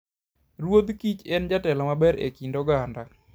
Ruodh kich en jatelo maber e kind oganda.